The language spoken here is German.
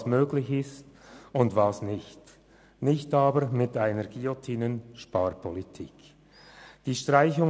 Es gilt auseinanderzuhalten, was möglich ist, und was nicht, ohne eine «Guillotine-Sparpolitik» umzusetzen.